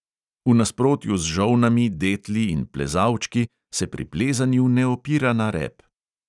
V nasprotju z žolnami, detli in plezalčki se pri plezanju ne opira na rep.